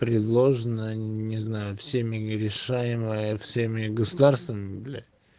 предложено не знаю всеми нерешаемая всеми государствами блять